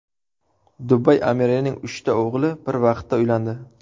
Dubay amirining uchta o‘g‘li bir vaqtda uylandi.